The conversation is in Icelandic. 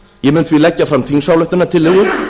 ég mun því leggja fram þingsályktunartillögu